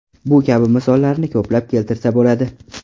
Bu kabi misollarni ko‘plab keltirsa bo‘ladi.